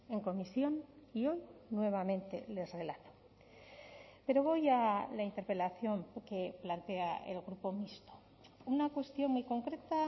en comisión y hoy nuevamente les relato pero voy a la interpelación que plantea el grupo mixto una cuestión muy concreta